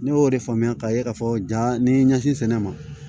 Ne y'o de faamuya ka ye k'a fɔ ja ni n ye ɲɛsin sɛnɛ ma